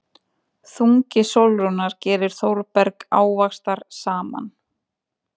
Þungi Sólrúnar gerir Þórberg ávaxtarsaman.